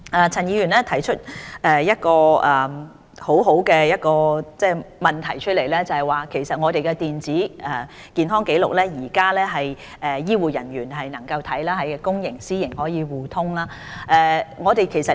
陳議員提出一個很好的問題，我們的電子健康紀錄目前可由醫護人員查詢，公營及私營醫療系統可以互通，這是第一期。